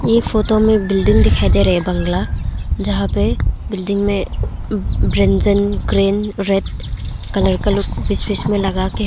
इस फोटो में बिल्डिंग दिखाई दे रहे बंगला जहां पे एक बिल्डिंग में व्यंजन क्रेन रेड कलर का लुक बीच में लगा के--